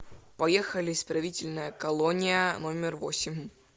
поехали исправительная колония номер восемь